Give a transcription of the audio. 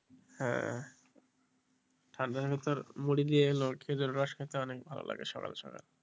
হ্যাঁ ঠান্ডায় মুড়ি দিয়ে খেজুরের রস খেতে অনেক ভালো লাগে সকাল সকাল,